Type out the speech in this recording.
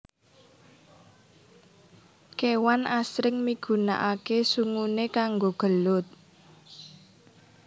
Kewan asring migunakaké sunguné kanggo gelut